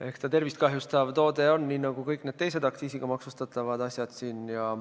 Eks ta tervist kahjustav toode on nii nagu kõik need teised aktsiisiga maksustatavad asjad.